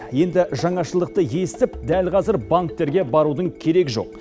енді жаңашылдықты естіп дәл қазір банктерге барудың керегі жоқ